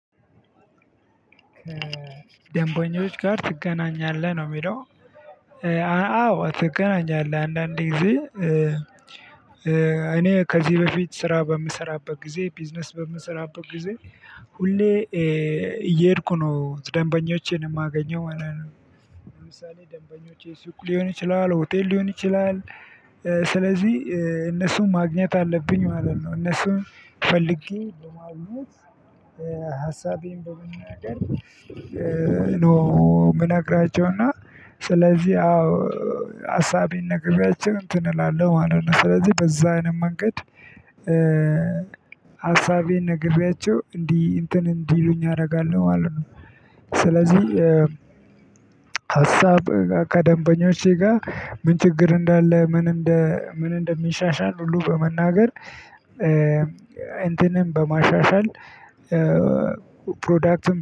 ደንበኞች ጋር ትገናኛለህ ነው እሚለው? አዎ ትገናኛለህ አንዳንድ ጊዜ እኔ ከዚህ በፊት ስራ በምሰራበት ጊዜ ቢዝነስ በምሰራበት ጊዜ ሁሌ እየሄድኩ ነው ደንበኞቼን እማገኘው ማለት ነው። ለምሳሌ ደንበኞቼ ሱቅ ሊሆን ይችላል ሆቴል ሊሆን ይችላል። ስለዚህ እነሱን ማግኘት አለብኝ ማለት ነው። እነሱን ፈልጌ በማግኘት ሀሳቤን በመናገር ነው እምነግራቸው። እና ስለዚህ አዎ ሀሳቤን ነገባቸው እንትን እላለሁ ማለት ነው። ስለዚህ በዛ አይነት መንገድ። ሀሳቤን ነግብያቸው እንዲህ እንትን እንዲሉኝ ያደርጋለሁ ማለት ነው። ስለዚህ ሀሳብ ከደንበኞቼ ጋ ምን ችግር እንዳለ ምን ምን እንደሚሻሻል ሁሉ በመናገር እንትንም በማሻሻል ፕሮዳክትም